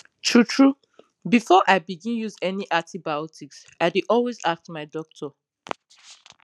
tru tru before i begin use any antibiotics i dey always ask my doctor